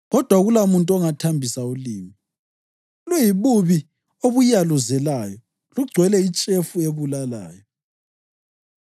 kodwa akulamuntu ongathambisa ulimi, luyibubi obuyaluzelayo, lugcwele itshefu ebulalayo.